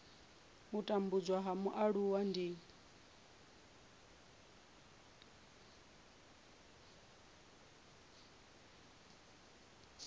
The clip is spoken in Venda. u tambudzwa ha mualuwa ndi